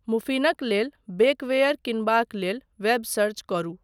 मुफ़िनक लेल बेकवेयर कीनबाक लेल वेब सर्च करू।